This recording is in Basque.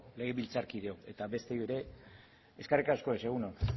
legebiltzarkideok eta besteei ere eskerrik asko ez egun on